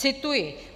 Cituji.